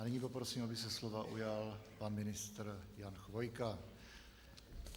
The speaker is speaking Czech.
A nyní poprosím, aby se slova ujal pan ministr Jan Chvojka.